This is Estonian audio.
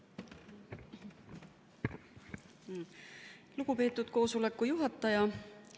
Lugupeetud koosoleku juhataja!